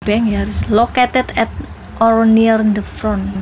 Located at or near the front